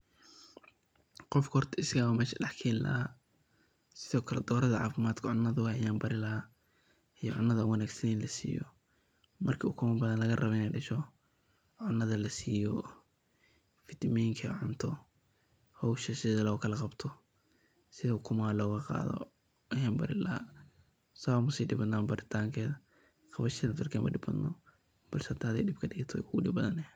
qof horta asagan mesha dhax keeni lahaa sidokale dorada caafimadked cunada ayn baari lahaa iyo cunada wanaagsan in la siiyo, marki ukuma badan laga rabo inay dhasho cunada la siyoo fitaminka cunto hosha sido lokala qabto sidi ukumaha laga qaado ayan bari laha saa umasi dhib badna baritankeda hosheda darked ma dhib badna ,balse hadii adiga dhib kadhigato way kugu dhib badani